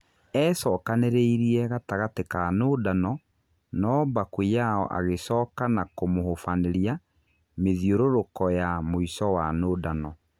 E-cokanĩrĩirie gatagatĩ wa nũndano no Bakuyao agĩcoka na kũmũhũbanĩria mĩthiũrũrũko ya mũico wa nũndano.